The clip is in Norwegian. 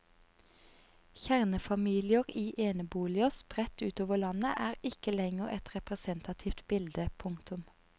Kjernefamilier i eneboliger spredt utover landet er ikke lenger et representativt bilde. punktum